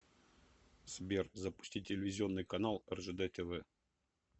сбер запусти телевизионный канал ржд тв